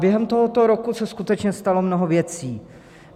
Během tohoto roku se skutečně stalo mnoho věcí.